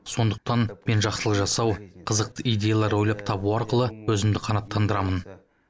сондықтан мен жақсылық жасау қызықты идеялар ойлап табу арқылы өзімді қанаттандырамын